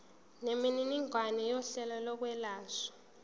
nemininingwane yohlelo lokwelashwa